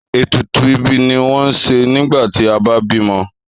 Ètùtù ìbí ni wọ́n ń ṣe nígbà tí a bá bímọ.